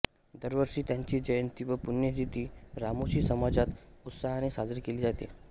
दरवर्षी त्यांची जयंती व पुण्यतिथी रामोशी समाजात उत्साहाने साजरी केली जाते